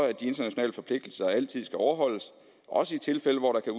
at de internationale forpligtelser altid skal overholdes også i tilfælde hvor der kan